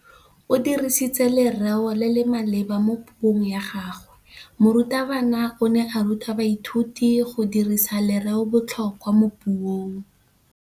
O dirisitse lerêo le le maleba mo puông ya gagwe. Morutabana o ne a ruta baithuti go dirisa lêrêôbotlhôkwa mo puong.